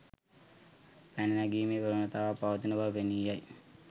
පැන නැගීමේ ප්‍රවණතාවක් පවතින බව පෙනී යයි.